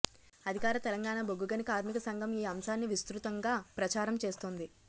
అధికార తెలంగాణ బొగ్గుగని కార్మిక సంఘం ఈ అంశాన్ని విస్తృతంగా ప్రచారం చేస్తోంది